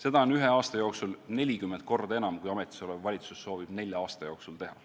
Seda on ühe aasta jooksul 40 korda enam, kui ametisolev valitsus soovib nelja aasta jooksul teha.